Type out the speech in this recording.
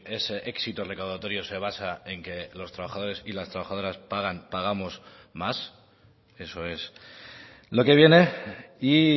ese éxito recaudatorio se basa en que los trabajadores y las trabajadoras pagan pagamos más eso es lo que viene y